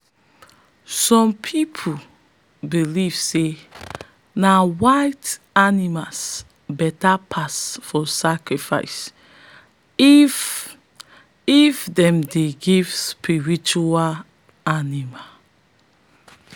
some pipo believe say na white animals beta pass for sacrifice if if them dey give spiritual animal.